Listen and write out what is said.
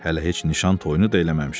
Hələ heç nişan toyunu da eləməmişik.